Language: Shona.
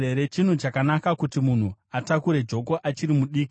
Chinhu chakanaka kuti munhu atakure joko achiri mudiki.